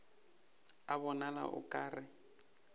a bonala o ka re